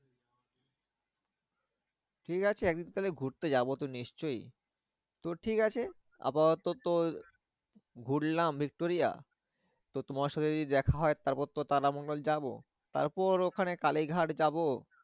ঠিক আছে একদিন তাহলে ঘুরতে যাবো তো নিশ্চই তো ঠিক আছে আপাতত তো ঘুরলাম ভিক্টোরিয়া তো তোমার সাথে যদি দেখা হয় তারপর তো তারামণ্ডল যাবো। তারপর ওখানে কালীঘাট যাবো।